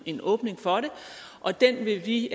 en åbning for det og den vil vi